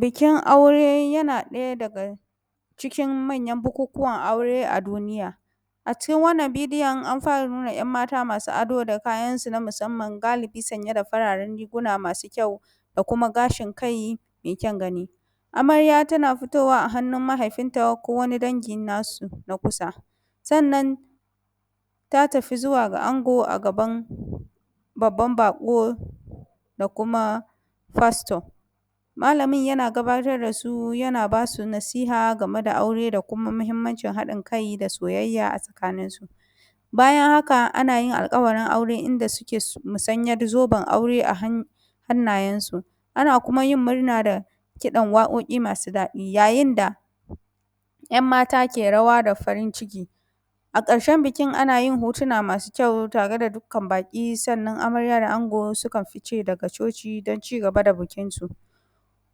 Bikin aure, yana ɗaya daga cikin manyan bukukuwan aure a duniya.. A cikin wannan bidiyon an fara nuna ‘yanmata masu ado, da kayansu na musamman galibi sanye da fararen riguna masu kyau da kuma gashin kai mai kyan gani. Amarya tana fitowa a hannun mahaifinta ko wani dangi nasu na kusa. Sannan ta tafi zuwa ga ango a gaban, babban baƙo da kuma pastor. Malamin yana gabatar da su, yana bas u nasiha game da aure da kuma muhimmanci haɗin kai da soyayyya a tsakaninsu. Bayan haka ana yin alƙawarin aure, inda suke yin musayen zoben aure a hannayensu. Ana kuma yin murna da kiɗan waƙoƙi masu daɗi yayin da, ‘yanmata ke rawa da farin ciki. A ƙarshen bikin ana yin hotona na kyau tare da dukkan baƙi, sannan amarya da ango sukan fice daga coci don cigaba da bikinsu.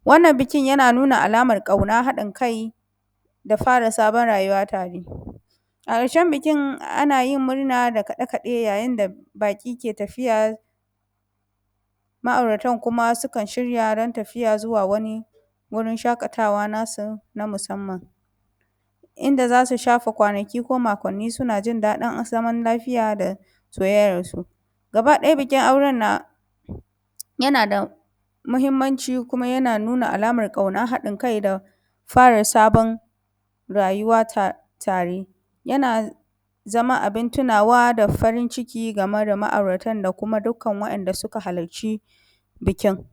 wannan bikin yana nuna alamar ƙauna, haƙin kai da fara sabon rayuwa tare. A ƙarshen bikin ana murna da kaɗe-kaɗe, yayin da baƙi ke tafiya, ma’auratan kuma sukan shirya ran tafiya zuwa wani wurin shaƙatawa nasu na musamman.. Inda za su shafe kwanaki ko makonni suna jin daɗin zaman lafiya da siayyarsu. Gaba ɗaya bikin auren na, yana da muhimmanci kima yan nuna alamar ƙauna haɗin kai da fara sabon rayuwa ta tare. Yana zama abin tunawa da farin ciki game da ma’auratan da kuma dukkan wanda suka haalacci bikin.